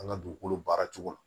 An ka dugukolo baara cogo